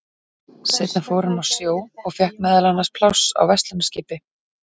Seinna fór hann á sjó og fékk meðal annars pláss á verslunarskipi.